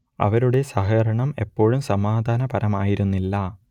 അവരുടെ സഹകരണം എപ്പോഴും സമാധാനപരമായിരുന്നില്ല